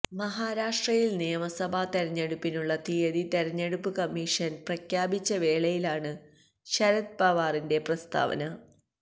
മഹാരാഷ്ട്രയില് നിയമസഭാ തെരഞ്ഞെടുപ്പിനുള്ള തിയ്യതി തെരെഞ്ഞെടുപ്പ് കമ്മിഷന് പ്രഖ്യാപിച്ച വേളയിലാണ് ശരത് പവാറിന്റെ പ്രസ്താവന